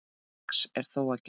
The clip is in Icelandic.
Margs er þó að gæta.